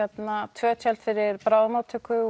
tvö tjöld fyrir bráðamóttöku